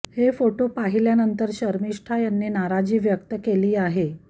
हे फोटो पाहिल्यानंतर शर्मिष्ठा यांनी नाराजी व्यक्त केली आहे